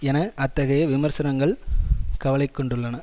என அத்தகைய விமர்சனங்கள் கவலைகொண்டுள்ளன